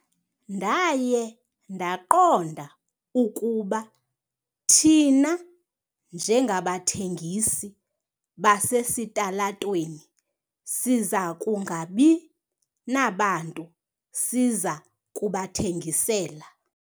Ndaye ndaqonda ukuba thina njengabathengisi basesitalatweni siza kungabi nabantu siza kubathengisela.